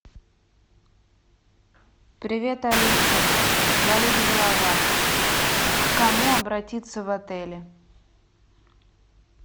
привет алиса болит голова к кому обратиться в отеле